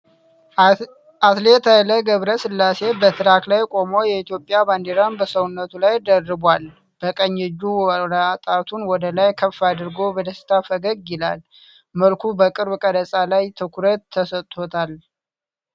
አትሌት ኃይሌ ገብረስላሴ በትራክ ላይ ቆሞ የኢትዮጵያን ባንዲራ በሰውነቱ ላይ ደርቧል። በቀኝ እጁ አውራ ጣቱን ወደ ላይ ከፍ አድርጎ በደስታ ፈገግ ይላል። መልኩ በቅርብ ቀረጻ ላይ ትኩረት ተሰጥቶታል።